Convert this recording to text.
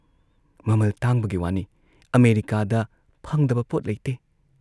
ꯃꯃꯜ ꯇꯥꯡꯕꯒꯤ ꯋꯥꯅꯤ ꯑꯃꯦꯔꯤꯀꯥꯗ ꯐꯪꯗꯕ ꯄꯣꯠ ꯂꯩꯇꯦ ꯫